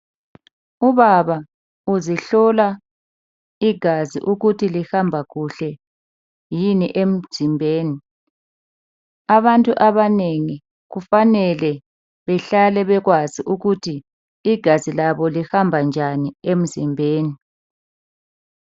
Ubaba uzihlola igazi ukuthi lihamba kuhle yini emzimbeni. Abantu abanengi kufanele bahlale bekwazi ukuthi igazi labo lihamba njani emzimbeni